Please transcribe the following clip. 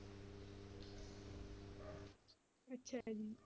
ਅੱਛਾ ਜੀ।